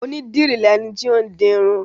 Onídìrí lẹni tó ń dirun.